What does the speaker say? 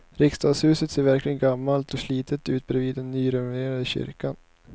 Riksdagshuset ser verkligen gammalt och slitet ut bredvid den nyrenoverade kyrkan.